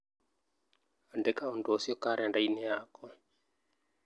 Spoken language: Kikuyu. Andĩka ũndũ ũcio karenda-inĩ yakwa